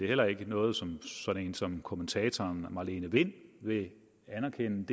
heller ikke noget som en som kommentatoren marlene wind vil anerkende